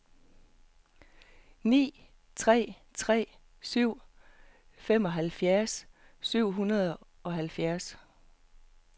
ni tre tre syv femoghalvfjerds syv hundrede og halvfjerds